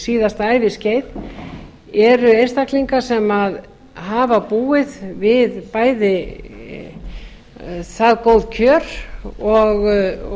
síðasta æviskeið eru einstaklingar sem hafa búið við bæði það góð kjör og